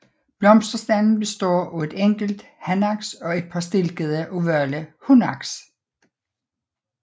Blomsterstanden består af et enkelt hanaks og et par stilkede ovale hunaks